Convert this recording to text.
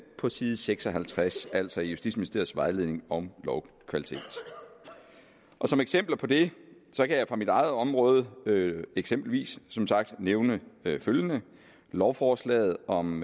på side seks og halvtreds altså i justitsministeriets vejledning om lovkvalitet som eksempler på det kan jeg fra mit eget område eksempelvis som sagt nævne følgende lovforslaget om